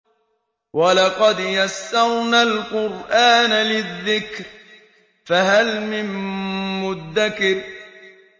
وَلَقَدْ يَسَّرْنَا الْقُرْآنَ لِلذِّكْرِ فَهَلْ مِن مُّدَّكِرٍ